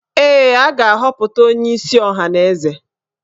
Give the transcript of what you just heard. Ee, a ga-aghọpụta onyeisi ọhaneze